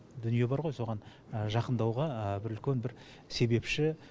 дүние бар ғой соған жақындауға бір үлкен бір себепші